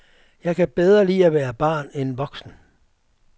Jeg kan bedre lide at være barn end voksen.